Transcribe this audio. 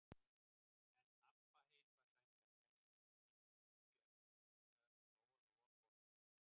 En Abba hin var sæmilega hress inni í hlýju eldhúsinu þegar Lóa-Lóa kom í dyrnar.